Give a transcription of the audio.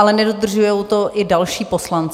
Ale nedodržují to i další poslanci.